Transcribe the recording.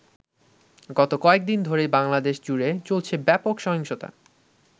গত কয়েকদিন ধরেই বাংলাদেশ জুড়ে চলছে ব্যপক সহিংসতা।